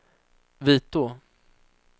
Vitå